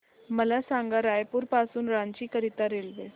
मला सांगा रायपुर पासून रांची करीता रेल्वे